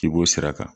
K'i b'o sira kan